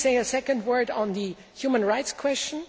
Let me say a second word on the human rights question.